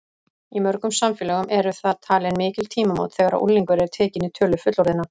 Í mörgum samfélögum eru það talin mikil tímamót þegar unglingur er tekinn í tölu fullorðinna.